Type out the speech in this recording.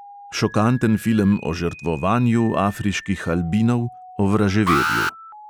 Šokanten film o žrtvovanju afriških albinov, o vraževerju.